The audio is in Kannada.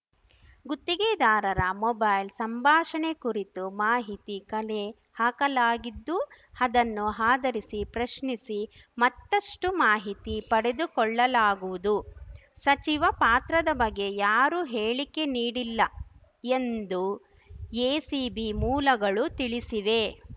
ಗುತ್ತಿಗೆದಾರರ ಮೊಬೈಲ್‌ ಸಂಭಾಷಣೆ ಕುರಿತು ಮಾಹಿತಿ ಕಲೆ ಹಾಕಲಾಗಿದ್ದು ಅದನ್ನು ಆಧರಿಸಿ ಪ್ರಶ್ನಿಸಿ ಮತ್ತಷ್ಟುಮಾಹಿತಿ ಪಡೆದುಕೊಳ್ಳಲಾಗುವುದು ಸಚಿವ ಪಾತ್ರದ ಬಗ್ಗೆ ಯಾರು ಹೇಳಿಕೆ ನೀಡಿಲ್ಲ ಎಂದು ಎಸಿಬಿ ಮೂಲಗಳು ತಿಳಿಸಿವೆ